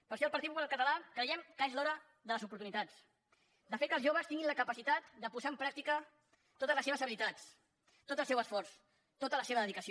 per això el partit popular català creiem que és l’hora de les oportunitats de fer que els joves tinguin la capacitat de posar en pràctica totes les seves habilitats tot el seu esforç tota la seva dedicació